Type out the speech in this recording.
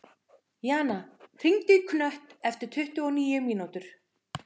Jana, hringdu í Knött eftir tuttugu og níu mínútur.